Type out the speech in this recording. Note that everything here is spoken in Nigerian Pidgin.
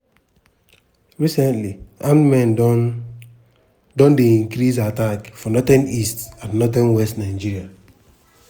recently armed men don don dey increase attack for northeast and northwest nigeria.